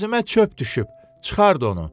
Gözümə çöp düşüb, çıxart onu.